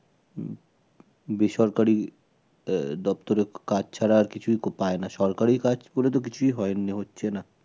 উম বেসরকারি আহ দপ্তরে কাজ ছাড়া আর কিছুই পায় না, সরকারি কাজ করে তো কিছুই হয় হচ্ছে না